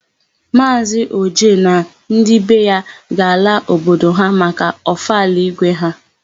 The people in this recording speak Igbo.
Maazị Oje na ndị be ya ga-ala obodo ha maka ọfala ígwé ha.